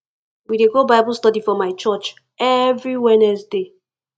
we dey go bible study for my church every wednesday